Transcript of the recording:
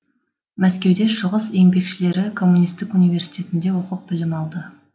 мәскеуде шығыс еңбекшілері коммунистік университетінде оқып білім алды